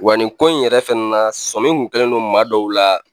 Wa ninko in yɛrɛ fɛnɛ na sɔmin kun kɛlen don maa dɔw la